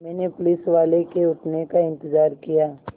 मैंने पुलिसवाले के उठने का इन्तज़ार किया